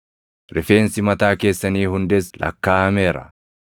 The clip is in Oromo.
Rifeensi mataa keessanii hundis lakkaaʼameera.